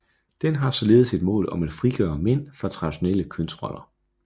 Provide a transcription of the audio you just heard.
Den har således et mål om at frigøre mænd fra traditionelle kønsroller